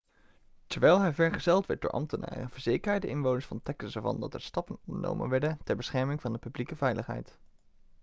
terwijl hij vergezeld werd door ambtenaren verzekerde hij de inwoners van texas ervan dat er stappen ondernomen werden ter bescherming van de publieke veiligheid